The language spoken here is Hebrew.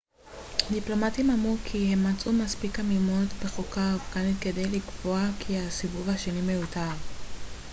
דיפלומטים אמרו כי הם מצאו מספיק עמימות בחוקה האפגנית כדי לקבוע כי הסיבוב השני מיותר